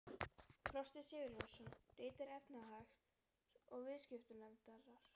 Frosti Sigurjónsson: Ritari efnahags- og viðskiptanefndar?